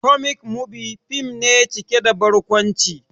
"Comic movie" fim ne cike da barkwanci